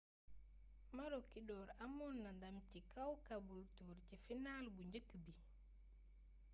maroochydore amoon na ndam ci kaw caboolture ci final bu njëkk bi